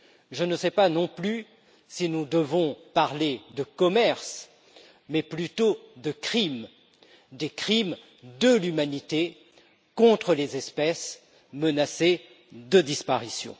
Je ne sais pas non plus si nous devons parler de commerce, mais plutôt de crime, des crimes de l'humanité contre les espèces menacées de disparition.